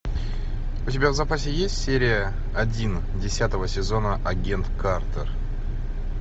у тебя в запасе есть серия один десятого сезона агент картер